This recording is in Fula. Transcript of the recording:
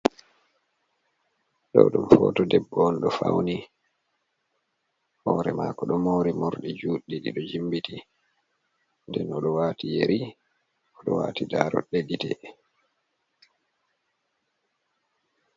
Ɗo ɗum hooto debbo on ɗo fawni, hoore maako ɗo mari morɗi juuɗɗi, ɗi ɗo jimbiti, nden o ɗo waati yeri, o ɗo waati daarooɗe gite.